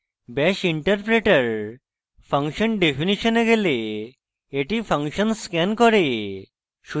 bash interpreter function definition এ গেলে এটি function scans করে